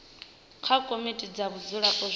kha komiti dza vhadzulapo zwi